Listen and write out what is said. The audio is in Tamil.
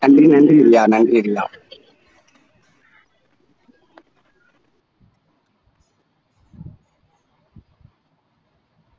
நன்றி நன்றி ரியா